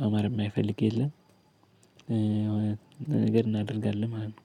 ማማር እማይፈልግ የለም። ነገር እናደርጋለን ማለት ነው።